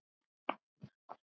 Það er ekki alveg klárt.